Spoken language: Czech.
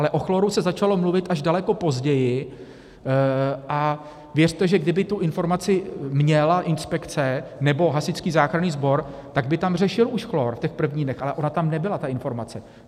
Ale o chlóru se začalo mluvit až daleko později, a věřte, že kdyby tu informaci měla inspekce nebo Hasičský záchranný sbor, tak by tam řešil už chlór v těch prvních dnech, ale ona tam nebyla ta informace.